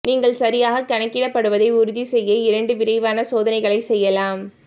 நீங்கள் சரியாக கணக்கிடப்படுவதை உறுதி செய்ய இரண்டு விரைவான சோதனைகளை செய்யலாம்